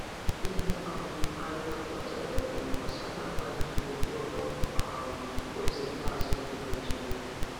Ihe um anyị mepụtara kwuru gbasara mkpa njem okporo um ụzọ ikpeazụ ndị Naịjirịa.